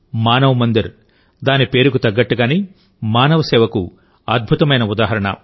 మానవ్ మందిర్ దాని పేరుకు తగ్గట్టుగానే మానవ సేవకు అద్భుతమైన ఉదాహరణ